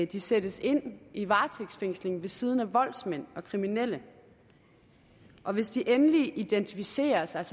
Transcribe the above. de sættes ind i varetægtsfængsel ved siden af voldsmænd og kriminelle og hvis de endelig identificerer sig